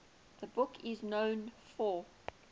the book is known for